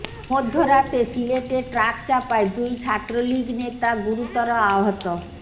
মধ্যরাতে সিলেটে ট্রাক চাপায় দুই ছাত্রলীগ নেতা গুরুতর আহত